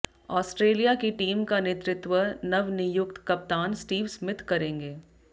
Australia की team का नेतृत्व नवनियुक्त कप्तान स्टीव स्मिथ करेंगें